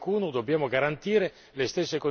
che la libertà di circolazione non sia punitiva